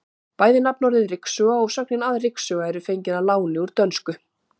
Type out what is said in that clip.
Bæði nafnorðið ryksuga og sögnin að ryksuga eru fengin að láni úr dönsku.